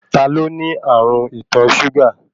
Ta ló ní ààrùn ìtọ súgà?